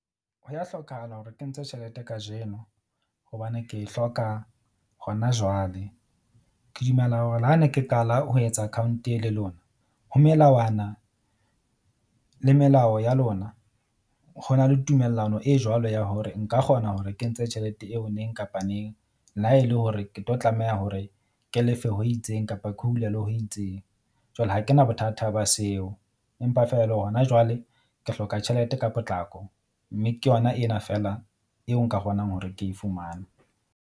Ho ya hlokahala hore ke ntshe tjhelete kajeno hobane ke e hloka hona jwale. Ke dumela hore le ha ne ke qala ho etsa account e le lona ho melawana le melao ya lona ho na le tumellano e jwalo ya hore nka kgona hore ke ntshe tjhelete eo neng kapa neng. Le ha e le hore ke tlo tlameha hore ke lefe ho itseng kapa ke ho hulelwe ho itseng. Jwale ha ke na bothata ba seo empa feela e le hona jwale, ke hloka tjhelete ka potlako, mme ke yona ena feela eo nka kgonang hore ke e fumane.